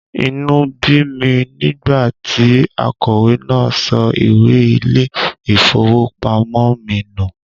Inú bí mi nígbà tí akọ̀wé náà sọ ìwé ilé-ìfowópamọ́ mi nù.